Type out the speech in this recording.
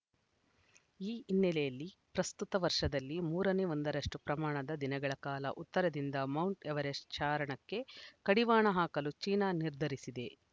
ಈ ಹಿನ್ನೆಲೆಯಲ್ಲಿ ಪ್ರಸ್ತುತ ವರ್ಷದಲ್ಲಿ ಮೂರನೇ ಒಂದರಷ್ಟು ಪ್ರಮಾಣದ ದಿನಗಳ ಕಾಲ ಉತ್ತರದಿಂದ ಮೌಂಟ್‌ ಎವರೆಸ್ಟ್‌ ಚಾರಣಕ್ಕೆ ಕಡಿವಾಣ ಹಾಕಲು ಚೀನಾ ನಿರ್ಧರಿಸಿದೆ